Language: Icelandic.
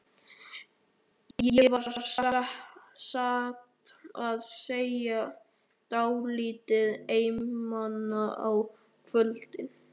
Ég var satt að segja dálítið einmana á kvöldin.